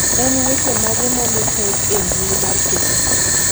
en weche mage momi per e mbui mar facebook